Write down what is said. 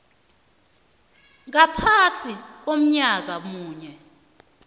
ngaphasi konyaka munye